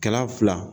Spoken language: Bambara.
Kɛra fila